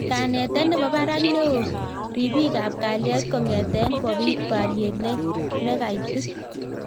Kanetet nepo parak neo ripik ap kalyet kongete kopit pariet nekaitit